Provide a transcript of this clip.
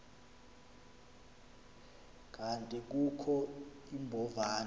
kanti kukho iimbovane